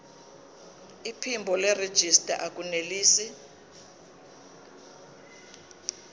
iphimbo nerejista akunelisi